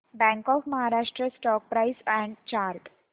bank of Maharashtra stock price and chart